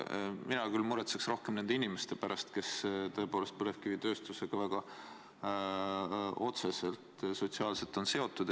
Mina küll muretseks rohkem nende inimeste pärast, kes tõepoolest põlevkivitööstusega väga otseselt sotsiaalses mõttes on seotud.